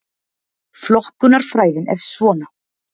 Flokkunarfræðin er svona: